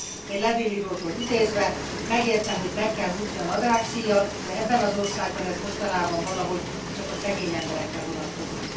Egy levélírótól idézve Megértem, hogy meg kell húzni a nadrágszíjat, de ebben az országban ez mostanában valahogy csak a szegény emberekre vonatkozik.